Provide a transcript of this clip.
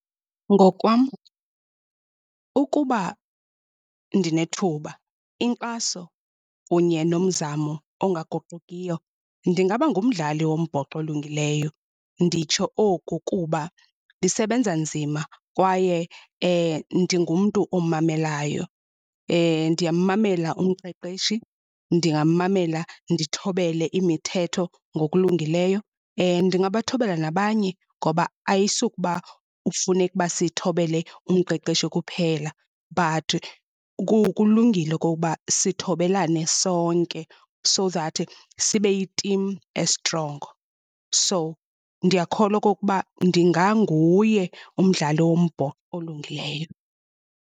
Ngokwam ukuba ndinethuba inkxaso kunye nomzamo ongaguqukiyo ndingaba ngumdlali wombhoxo olungileyo, nditsho oku kuba ndisebenza nzima kwaye ndingumntu omamelayo. Ndiyamamela umqeqeshi, ndingamamela ndithobele imithetho ngokulungileyo. Ndingabathobela nabanye ngoba ayisukuba kufuneka uba sithobele umqeqeshi kuphela, but kulungile okokuba sithobelane sonke so that sibeyi timu estrongo. So, ndiyakholwa okokuba ndinganguye umdlali wombhoxo olungileyo.